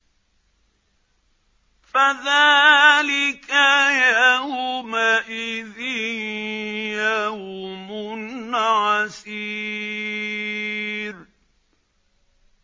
فَذَٰلِكَ يَوْمَئِذٍ يَوْمٌ عَسِيرٌ